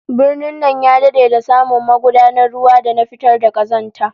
Birnin nan ya dade da samu magudanun ruwa da na fitar da kazanta